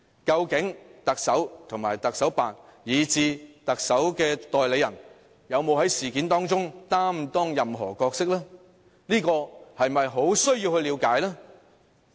究竟特首及特首辦以至特首的代理人，有沒有在事件中擔當任何角色，這不是很需要了解嗎？